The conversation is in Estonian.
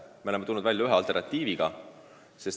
Me oleme tulnud välja ühe alternatiiviga.